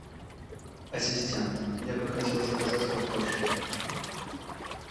ассистент я бы хотел заказать картошку